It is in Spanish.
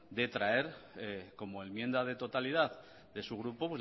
de traer como enmienda de totalidad de su grupo